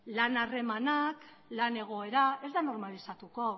lan harremanak lan egoera ez da normalizatuko